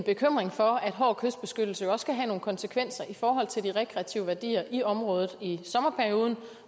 bekymring for at hård kystbeskyttelse også kan have nogle konsekvenser i forhold til de rekreative værdier i området i sommerperioden